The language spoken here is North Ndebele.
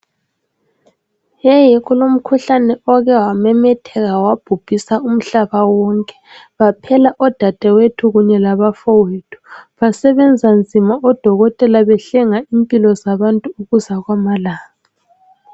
Heyi kulomkhuhlane oke wamemetheka wabhubhisa umhlaba wonke, baphela odadawethu kunye labafowethu. Basebenza nzima odokotela behlenga impilo zabantu ukusa kwamalanga.